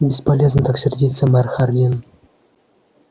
бесполезно так сердиться мэр хардин